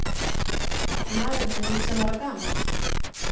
Maðurinn er nítján ára gamall.